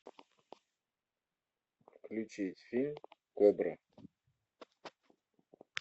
включить фильм кобра